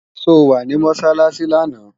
So wá sí Mọ́sálásí lánàá?